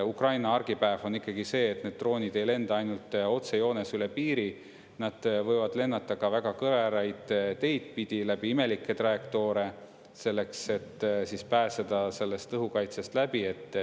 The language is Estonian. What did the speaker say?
Ukraina argipäev on ikkagi see, et need droonid ei lenda ainult otsejoones üle piiri, nad võivad lennata ka väga kõveraid teid pidi, läbi imelikke trajektoore, selleks et pääseda õhukaitsest läbi.